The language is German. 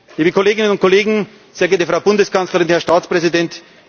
Liebe Kolleginnen und Kollegen, sehr geehrte Frau Bundeskanzlerin, Herr Staatspräsident!